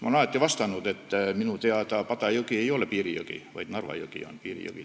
Ma olen alati vastanud, et minu teada Pada jõgi ei ole piirijõgi, vaid Narva jõgi on täna piirijõgi.